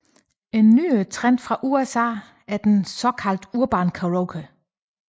En nyere trend fra USA er den såkaldte Urban Karaoke